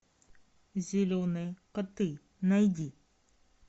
зеленые коты найди